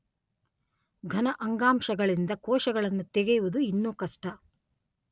ಘನ ಅಂಗಾಂಶಗಳಿಂದ ಕೋಶಗಳನ್ನು ತೆಗೆಯುವುದು ಇನ್ನೂ ಕಷ್ಟ.